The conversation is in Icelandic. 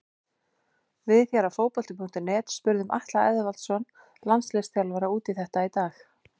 Við hér á Fótbolti.net spurðum Atla Eðvaldsson landsliðsþjálfara út í þetta í dag.